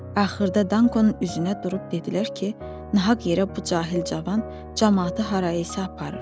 Axırda Dankonun üstünə durub dedilər ki, nahaq yerə bu cahil cavan camaatı harayasa aparır.